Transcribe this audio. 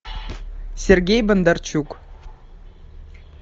сергей бондарчук